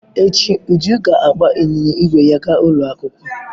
Echi, Uju ga-agba ịnyịnya ígwè ya gaa ụlọ akwụkwọ.